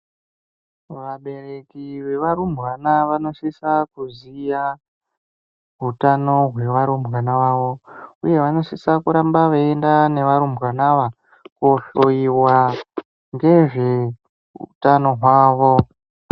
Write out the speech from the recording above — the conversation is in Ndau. Wabereki vevarumbwana vanosisa kuziya utano hwevarumbwana wawo uye vanosisa kuramba veienda nevarumbwana ava kohloyiwa ngezveutano hwavo.